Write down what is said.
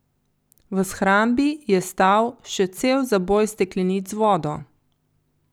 V shrambi je stal še cel zaboj steklenic z vodo.